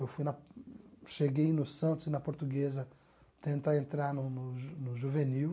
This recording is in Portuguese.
Eu fui na cheguei no Santos e na Portuguesa, tentar entrar no no ju no Juvenil.